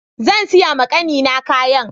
Zansiya ma kannina kayan.